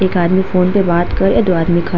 एक आदमी फ़ोन पे बात कर रहे दो आदमी खड़ा --